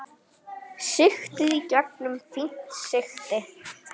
Sigtið í gegnum fínt sigti.